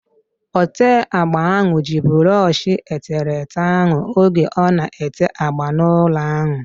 Ote agba ahu ji brọọshi eterete ahu oge ọ na-ete agba n'ụlọ ahu